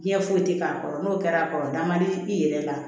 Diɲɛ foyi tɛ k'a kɔrɔ n'o kɛra a kɔrɔ da man di i yɛrɛ la